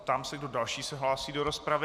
Ptám se, kdo další se hlásí do rozpravy.